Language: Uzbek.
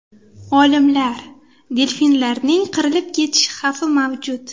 Olimlar: delfinlarning qirilib ketish xavfi mavjud.